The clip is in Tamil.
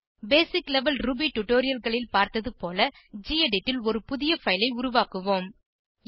பேசிக் லெவல் ரூபி tutorialகளில் பார்த்தது போல கெடிட் ல் ஒரு புதிய பைல் ஐ உருவாக்குவோம்